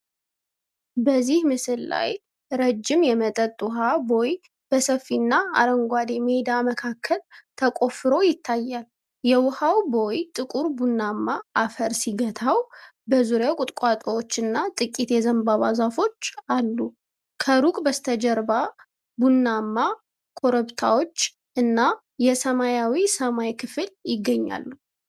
በዚህ ምስል ላይ ረጅም የመጠጥ ውሃ ቦይ በሰፊና አረንጓዴ ሜዳ መካከል ተቆፍሮ ይታያል። የውሃው ቦይ ጥቁር ቡናማ አፈር ሲገታው፣ በዙሪያው ቁጥቋጦዎችና ጥቂት የዘንባባ ዛፎች አሉ። ከሩቅ በስተጀርባ ቡናማ ኮረብታዎች እና የሰማያዊ ሰማይ ክፍል ይገኛሉ።